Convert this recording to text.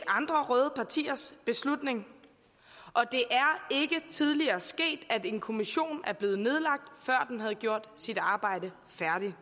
andre røde partiers beslutning og tidligere sket at en kommission er blevet nedlagt før den havde gjort sit arbejde færdigt